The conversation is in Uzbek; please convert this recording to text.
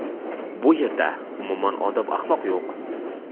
Bu yerda, umuman odob-axloq yo‘q.